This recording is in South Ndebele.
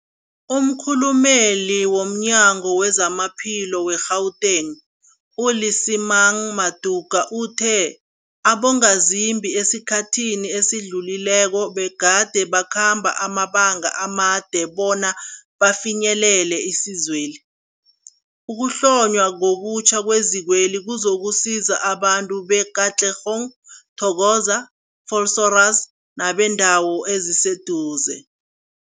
Umkhulumeli womNyango weZamaphilo we-Gauteng, u-Lesemang Matuka uthe abongazimbi esikhathini esidlulileko begade bakhamba amabanga amade bona bafinyelele isizweli. Ukuhlonywa ngobutjha kwezikweli kuzokusiza abantu be-Katlehong, Thokoza, Vosloorus nebeendawo eziseduze.